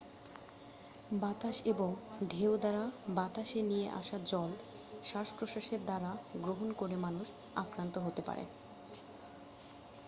বাতাস এবং ঢেউ দ্বারা বাতাসে নিয়ে আসা জল শ্বাস প্রশ্বাসের দ্বারা গ্রহণ করে মানুষ আক্রান্ত হতে পারে